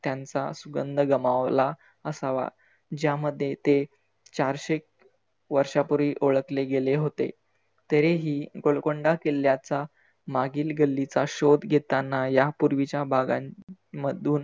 त्यांचा सुगंध गमावला असावा. ज्यामध्ये ते चारशे वर्षापुर्वी ओळखले गेले होते. तरी ही गोलकोंडा किल्ल्याचा मागील गल्लीचा शोध घेतांना या पुर्वीच्या भागां मधून